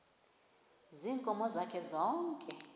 ziinkomo zakhe zonke